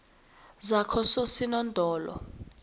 zakososinodolo